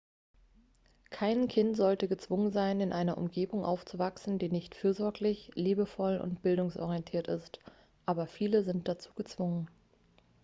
kein kind sollte gezwungen sein in einer umgebung aufzuwachsen die nicht fürsorglich liebevoll und bildungsorientiert ist aber viele sind dazu gezwungen